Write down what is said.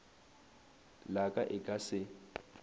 la ka e ka se